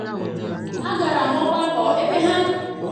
agara m ogbako ebe ha kuziri usoro maka ichekwa omenala akwa ejiri aka mee